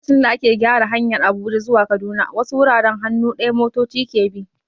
Lokacin da ake gyara hanyar Abuja zuwa Kaduna, wasu wuraren hannu ɗaya motoci ke bi.